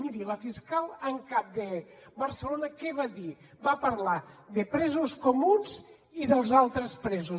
miri la fiscal en cap de barcelona què va dir va parlar de presos comuns i dels altres presos